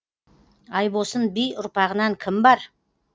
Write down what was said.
айбосын би ұрпағынан кім бар